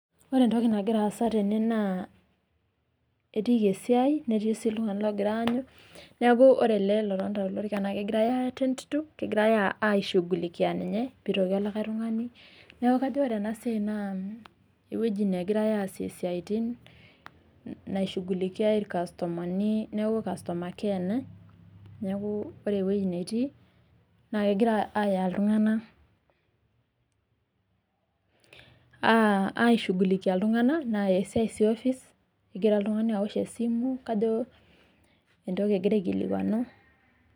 Ore entoki nagira aasa tene naa etiiki esiia netii sii oltung'ani logirai aanyu neeku Ore ele otonita tolorika naa kegirai attend to kegirai aishugulikia ninye pee elotu likae tung'ani, neeku kadolta ena siai ena euwi e customer care